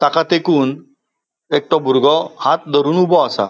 ताका तेकुन एक तो बुरगो हाथ धरून ऊबो आसा.